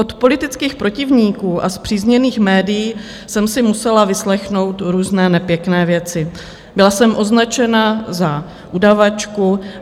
Od politických protivníků a spřízněných médií jsem si musela vyslechnout různé nepěkné věci, byla jsem označena za udavačku.